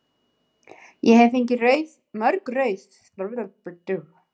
Ég hef fengið mörg rauð spjöld.